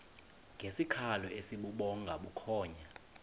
ngesikhalo esibubhonga bukhonya